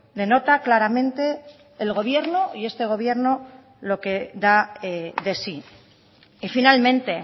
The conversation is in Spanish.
denota claramente el gobierno y este gobierno lo que da de sí y finalmente